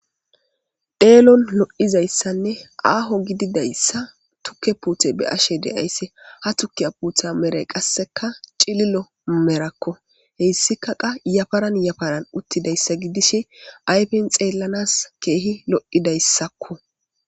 Dheelon lo7izayssanne aaho gididayssa tukke puuthe be ashe deaysse ha tukkiya puutha mere qasseka cililo merakko heyssika qa yafaran yafaran uttidayssa gidish ayfen xeellanas keehi lo7idayssakko.